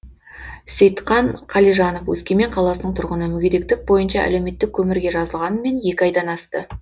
сейтқан қалижанов өскемен қаласының тұрғыны мүгедектік бойынша әлеуметтік көмірге жазылғанмен екі айдан асты